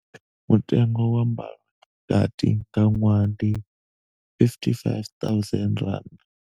Mutengo wa mbalo tshikati nga ṅwaha ndi R55 000.